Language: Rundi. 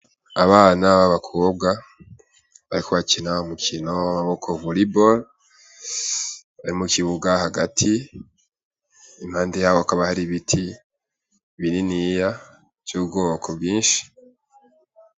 Abana babakobwa, ariko akina ho mukino w''amaboko vulibol arimu kibuga hagati impande yawo akaba hari ibiti biriniya v'ubwooko bwinshi.